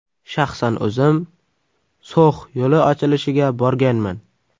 Shaxsan o‘zim So‘x yo‘li ochilishiga borganman.